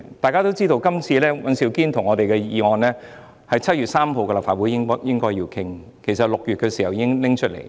大家都知道，尹兆堅議員及我們的議案應該早在7月3日的立法會會議便進行討論，因為6月已經提出。